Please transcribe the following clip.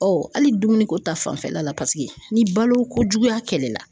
hali dumuniko ta fanfɛla la paseke ni baloko juguya kɛlɛla.